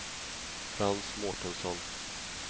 Frans Mårtensson